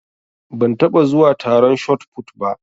Ban taɓa zuwa taron shotput ba.